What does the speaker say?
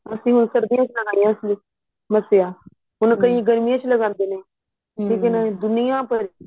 ਅਸੀਂ ਹੁਣ ਸਰਦੀਆਂ ਚ ਲਗਾਈਆਂ ਏ ਮੱਸਿਆਂ ਹੁਣ ਕਈ ਗਰਮੀਆਂ ਵਿੱਚ ਲਗਾਦੇ ਨੇ ਲੇਕਿਨ ਦੁਨੀਆਂ ਭਰ